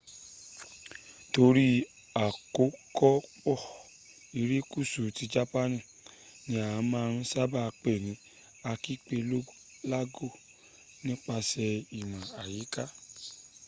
torí àkókọpọ̀ irékusú tí japaani ní a máa n sába pe ní akipelago nípasẹ̀ ìmọ̀ àyíká